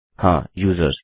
हाँ यूजर्स